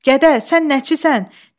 Gədə, sən nəçisən?